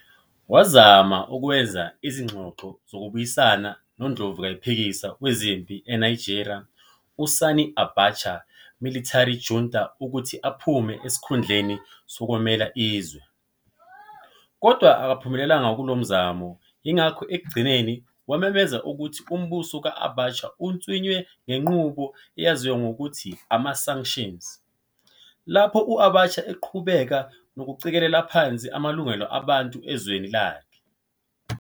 Wazama ukwenza izingxoxo zokubuyisana nondlovukayiphikiswa wezempi eNigeria u-Sani Abacha military junta ukuthi aphume esikhundleni sokwengamela izwe, kodwa akangaphumelela kulo mzamo, yingakho ekugcineni wamemezela ukuthi umbuso ka-Abacha untswinywe ngenqubo eyaziwa ngokuthi ama-sanctions, lapho u-Abacha eqhubeke nokucikela phansi amalungelo abantu ezweni lakhe.